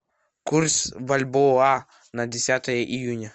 курс бальбоа на десятое июня